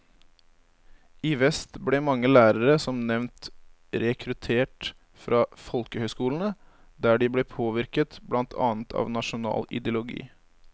I vest ble mange lærere som nevnt rekruttert fra folkehøyskolene, der de ble påvirket blant annet av nasjonal ideologi.